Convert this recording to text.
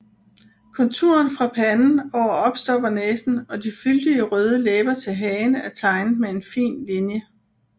Konturen fra panden over opstoppernæsen og de fyldige røde læber til hagen er tegnet med en fin linje